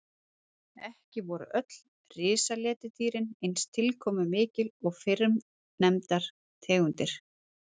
Ekki voru öll risaletidýrin eins tilkomumikil og fyrrnefndar tegundir.